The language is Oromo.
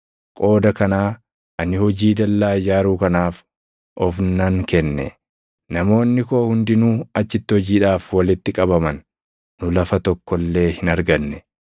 Qooda kanaa ani hojii dallaa ijaaruu kanaaf of nan kenne. Namoonni koo hundinuu achitti hojiidhaaf walitti qabaman; nu lafa tokko illee hin arganne.